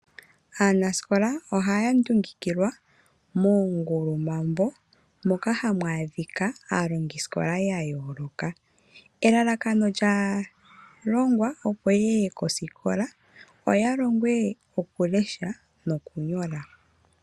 Aanasikola ohoya ndundukilwa moongulu mambo moka hamu adhika aalongisikola ya yooloka elalakano lyaalongwa opo yeye kosikola oya longwe okulesha nokunyola.